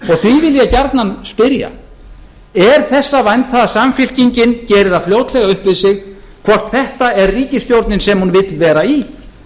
ég gjarnan spyrja er þess að vænta að samfylkingin geri það fljótlega upp við sig hvort þetta er ríkisstjórnin sem hún vill vera í